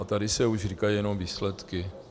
A tady se už říkaly jenom výsledky.